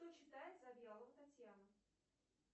что читает завьялова татьяна